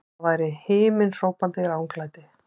Það var himinhrópandi ranglæti!